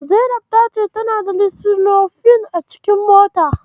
Zainab ta ce tana da Lisinopril a cikinmotarta.